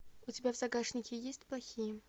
у тебя в загашнике есть плохие